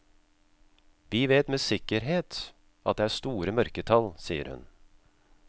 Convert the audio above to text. Vi vet med sikkerhet at det er store mørketall, sier hun.